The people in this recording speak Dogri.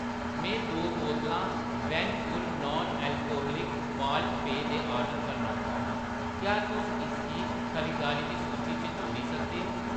में दो बोतलां वैन पुर नान अलकोह्लिक माल्ट पेय दे ऑर्डर करना चाह्‌न्नां, क्या तुस इसगी खरीदारी दी सूची च जोड़ी सकदे ओ ?